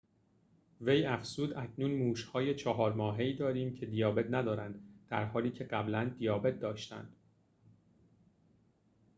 وی افزود اکنون موش‌های ۴ ماهه‌ای داریم که دیابت ندارند در حالی که قبلاً دیابت داشتند